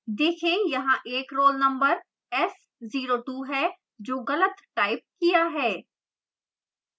देखें यहाँ एक roll number s02 है जो गलत टाइप किया है